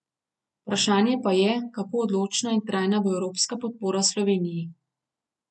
Vprašanje pa je, kako odločna in trajna bo evropska podpora Sloveniji.